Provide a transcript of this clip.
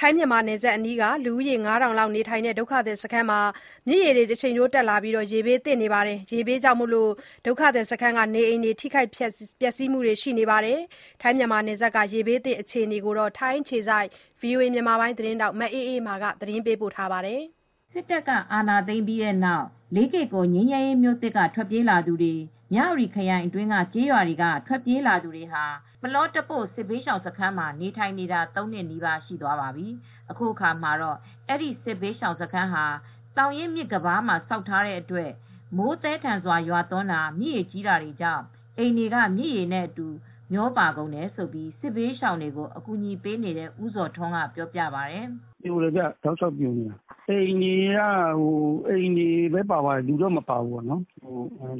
ထိုင်းမြန်မာနယ်စပ်အနီးက လူဦးရေ ၅၀၀၀ လောက်နေထိုင်ရာ ဒုက္ခသည်စခန်းမှာ မြစ်ရေတက်လာရာက ရေဘေးသင့်နေပါတယ်။ ရေဘေးကြောင့် ဒုက္ခသည်စခန်းက နေအိမ်တချို့ ထိခိုက်ပျက်စီးတာတွေလည်း ရှိခဲ့တယ်လို့ အကူအညီပေးနေသူတွေက ပြောပါတယ်။ ထိုင်း၊ မြန်မာနယ်စပ်က ရေဘေးသင့် အခြေအနေနဲ့ ပတ်သက်လို့ ဗွီအိုအေ မြန်မာပိုင်း ထိုင်းအခြေစိုက် သတင်းထောက် မအေးအေးမာ သတင်းပေးပို့ထားပါတယ်။ စစ်တပ်ကအာဏာသိမ်းပြီး လေးကေ့ကော်ငြိမ်းချမ်းရေးမြို့သစ်က ထွက်ပြေးလာသူတွေ မြ၀တီခရိုင်အတွင်းကကျေးရွာတွေကထွက်ပြေးလာသူတွေဟာ ပလောတပို့စစ်ဘေးရှောင်စခန်းမှာနေထိုင်နေတာ ၃နှစ်နီးပါးရှိသွားပါပြီ။ အခုအခါမှာတော့အဲဒီစစ်ဘေးရှောင်စခန်းဟာ သောင်ရင်းမြစ်ကမ်းပါးမှာဆောက်ထားတဲ့အတွက် မိုးသည်းထန်စွာရွာတာ မြစ်ရေကြီးတာတွေကြောင့် အိမ်တွေက မြစ်ရေနဲ့အတူမျှောပါကုန်တယ်လို့ စစ်ဘေးရှောင်တွေကိုအကူညီပေးနေတဲ့ ဦးဇော်ထွန်းကပြောပြပါတယ်။ "ကမ်းပါးမြေတွေက တောက်လျှောက်ပြိုနေတယ် ၊ အိမ်တွေပဲပါသွားတယ် လူတွေကတော့မပါသွားဘူး